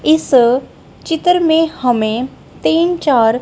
इस चित्र में हमें तीन चार--